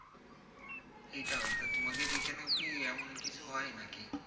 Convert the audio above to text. সেটা হয়তো তোমাগের ওই খানে এমন কিছু হয় নাকি?